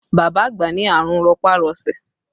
Bàbá àgbà ní àrùn rọpá-rọsẹ̀